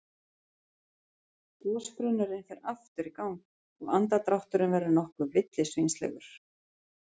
Gosbrunnurinn fer aftur í gang og andardrátturinn verður nokkuð villisvínslegur.